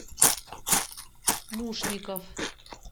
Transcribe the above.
мушников